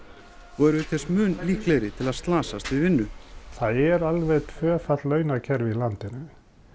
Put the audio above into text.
og eru auk þess mun líklegri til að slasast við vinnu það er alveg tvöfalt launakerfi í landinu